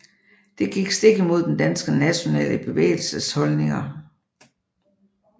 Det gik stik imod den danske nationale bevægelses holdninger